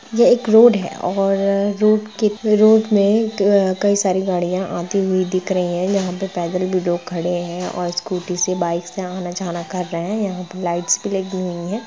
यह एक रोड है और रूट कितने रूट में कई सारी गाड़ियां आई हुई दिख रही है जहां पर पैदल भी लोग खड़े हैं और स्कूटी से बाइक से आना-जाना कर रहे हैं यहां पर लाइट्स भी लगी हुई है।